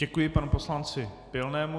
Děkuji panu poslanci Pilnému.